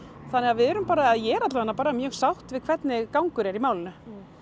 þannig að við erum bara eða ég er bara mjög sátt við hvernig gangur er í málinu